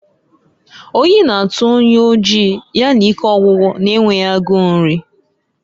Oyi na-atụ onye oji, ya na ike ọgwụgwụ na-enweghi agu nri.